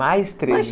Mais treze?